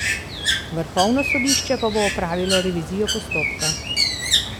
Vrhovno sodišče pa bo opravilo revizijo postopka.